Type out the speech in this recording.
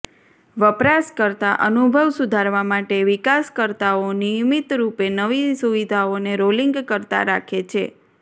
વપરાશકર્તા અનુભવ સુધારવા માટે વિકાસકર્તાઓ નિયમિત રૂપે નવી સુવિધાઓને રોલિંગ કરતા રાખે છે